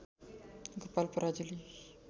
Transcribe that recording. Gopal Parajuli